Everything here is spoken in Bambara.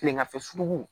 Kileganfɛjugu